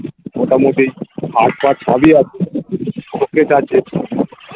মোটামুটি ছাই পাঁশ সবই আছে office আছে